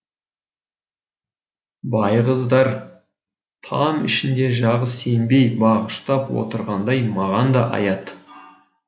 байғыздар там ішінде жағы сембей бағыштап отырғандай маған да аят